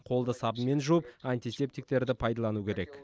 қолды сабынмен жуып антисептиктерді пайдалану керек